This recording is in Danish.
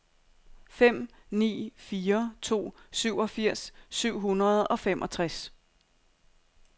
fem ni fire to syvogfirs syv hundrede og femogtres